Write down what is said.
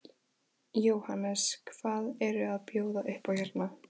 Jóhannes: Hvað eru að bjóða upp á hérna?